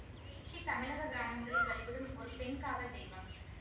பேச்சி தமிழக கிராமங்களில் வழிபடும் ஒரு பெண் காவல் தெய்வம்